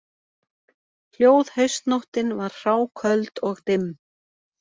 Hljóð haustnóttin var hráköld og dimm